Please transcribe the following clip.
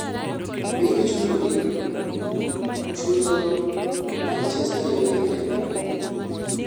biro chunogi chulo ma nchester united